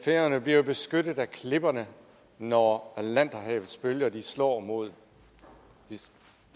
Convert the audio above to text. færøerne bliver jo beskyttet af klipperne når atlanterhavets bølger slår mod